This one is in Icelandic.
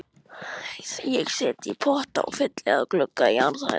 Ég set í potta og fylli alla glugga á jarðhæð.